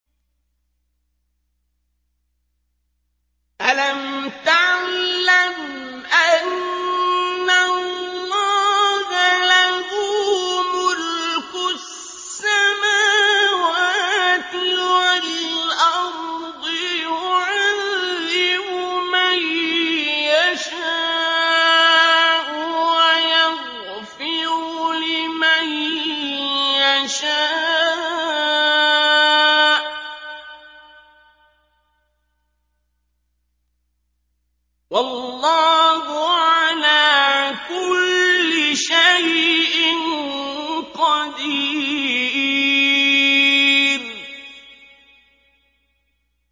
أَلَمْ تَعْلَمْ أَنَّ اللَّهَ لَهُ مُلْكُ السَّمَاوَاتِ وَالْأَرْضِ يُعَذِّبُ مَن يَشَاءُ وَيَغْفِرُ لِمَن يَشَاءُ ۗ وَاللَّهُ عَلَىٰ كُلِّ شَيْءٍ قَدِيرٌ